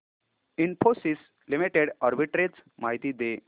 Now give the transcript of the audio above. Infosys limited arbitrage माहिती दे